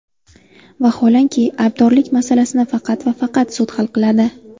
Vaholanki, aybdorlik masalasini faqat va faqat sud hal qiladi.